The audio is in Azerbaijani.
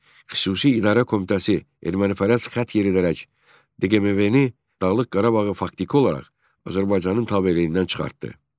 Xüsusi idarə komitəsi ermənipərəst xətt yeridərək DQMV-ni Dağlıq Qarabağı faktiki olaraq Azərbaycanın tabeliyindən çıxartdı.